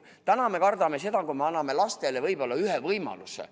Täna me kardame seda, et me anname lastele selle võimaluse.